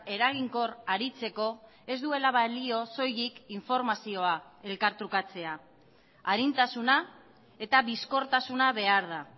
eraginkor aritzeko ez duela balio soilik informazioa elkartrukatzea arintasuna eta bizkortasuna behar da